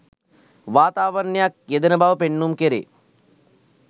වාතාවරණයක් යෙදෙන බව පෙන්නුම් කෙරේ.